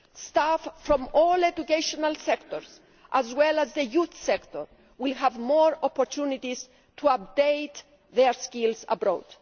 Staff from all educational sectors, as well as the youth sector, will have more opportunities to update their skills abroad.